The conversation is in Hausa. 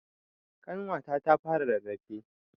Ƙanwata ta fara rarrafe.